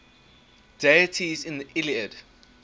deities in the iliad